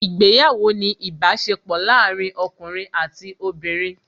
Ìgbéyàwó ni ìbáṣepọ̀ láàárín ọkùnrin àti obìnrin